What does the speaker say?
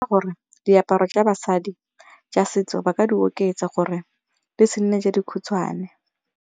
Gore diaparo tsa basadi tsa setso ba ka di oketsa gore di se nne tse dikhutshwane.